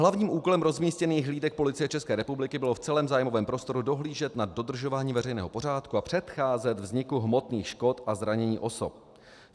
Hlavním úkolem rozmístěných hlídek Policie České republiky bylo v celém zájmovém prostoru dohlížet na dodržování veřejného pořádku a předcházet vzniku hmotných škod a zranění osob.